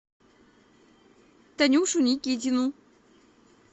танюшу никитину